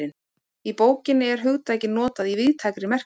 Í bókinni er hugtakið notað í víðtækri merkingu.